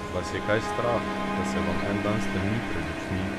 Vas je kaj strah, da se vam en dan stemni pred očmi?